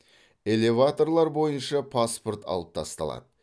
элеваторлар бойынша паспорт алып тасталады